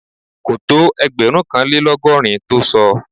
Kò tó ẹgbẹ̀rúnkanlélọ́gọ́rin tó sọ